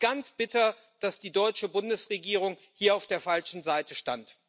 Es ist ganz bitter, dass die deutsche Bundesregierung hier auf der falschen Seite stand.